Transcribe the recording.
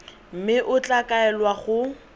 mme o tla kaelwa go